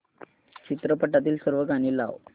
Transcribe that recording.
चित्रपटातील सर्व गाणी लाव